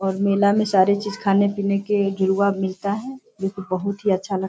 और मेल में सारी चीज खाने-पीने की जुड़वा मिलता है जो की बहुत अच्छा --